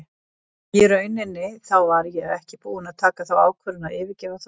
Í rauninni þá var ég ekki búinn að taka þá ákvörðun að yfirgefa Þrótt.